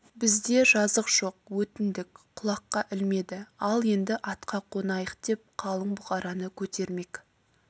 бізде жазық жоқ өтіндік құлаққа ілмеді ал енді атқа қонайық деп қалың бұқараны көтермек